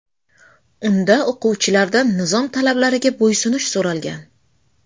Unda o‘quvchilardan nizom talablariga bo‘ysunish so‘ralgan.